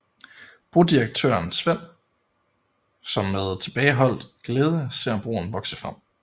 Brodirektøren Sven som med tilbageholdt glæde ser broen vokse frem